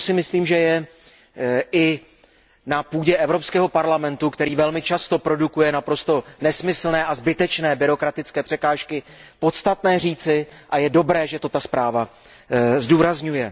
To si myslím, že je i na půdě Evropského parlamentu, který velmi často produkuje naprosto nesmyslné a zbytečné byrokratické překážky, podstatné říci a je dobré, že to ta zpráva zdůrazňuje.